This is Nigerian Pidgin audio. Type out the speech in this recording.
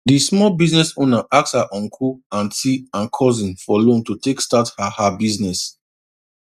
di small business owner ask her uncle aunty and cousin for loan to take start her her business